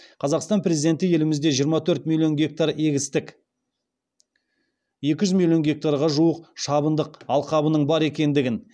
қазақстан президенті елімізде жиырма төрт миллион гектар егістік екі жүз миллион гектарға жуық шабындық алқабының бар екендігін